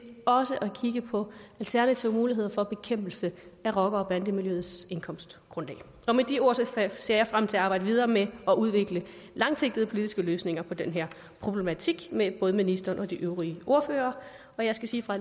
også at kigge på alternative muligheder for bekæmpelse af rocker bande miljøets indkomstgrundlag med de ord ser jeg frem til at arbejde videre med at udvikle langsigtede politiske løsninger på den her problematik med både ministeren og de øvrige ordførere jeg skal sige fra